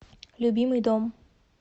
любимый дом